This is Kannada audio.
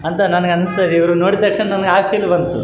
ಬೆಟ್ಟವು ನೋಡಲು ಬರುತ್ತಿದೆ ಇಲ್ಲಿ ಎರಡು ಮರಗಳು ಕಾಣಿಸಲು ಬರುತ್ತಿದೆ ಇಲ್ಲಿ ಇಬ್ಬರು --